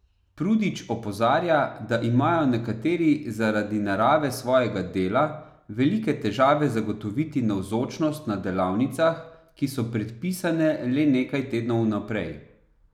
Prudič opozarja, da imajo nekateri zaradi narave svojega dela velike težave zagotoviti navzočnost na delavnicah, ki so predpisane le nekaj tednov vnaprej.